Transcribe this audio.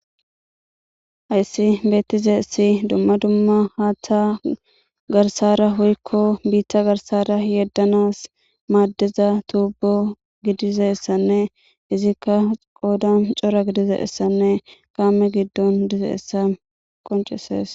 Hayssi beetizaysi dumma dumma haatha garsaara woyko biita garsaara yedanaas maadiza tubo gidizaysanne izika qoodan cora gidizaysanne kaame giddon dizaysa qonccisses.